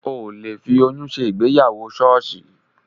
Ò le fi oyún ṣe ìgbéyàwó ṣọ́ọ̀ṣì